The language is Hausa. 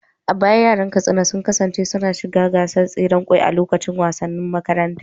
A baya yaran Katsina sun kasance suna shiga gasar tseren kwai a lokacin wasannin makaranta.